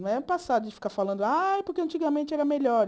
Não é um passado de ficar falando, ah, porque antigamente era melhor.